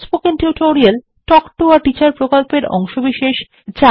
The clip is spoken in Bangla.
spoken tutorial talk to a teacher প্রকল্পের অংশবিশেষ